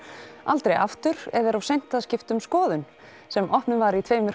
aldrei aftur eða er of seint að skipta um skoðun sem opnuð var í tveimur